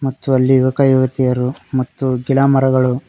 ಮತ್ತು ಅಲ್ಲಿ ಯುವಕ ಯುವತಿಯರು ಮತ್ತು ಗಿಡಮರಗಳು--